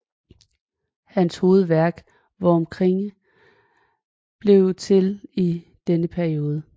Hans hovedværk Vom Kriege blev til i denne periode